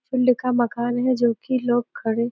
मकान है जो कि लोग खड़े --